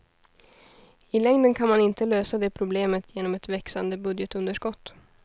I längden kan man inte lösa det problemet genom ett växande budgetunderskott.